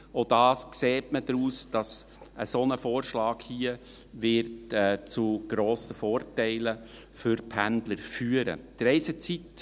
Auch daran erkennt man, dass so ein Vorschlag hier zu grossen Vorteilen für die Pendler führen wird.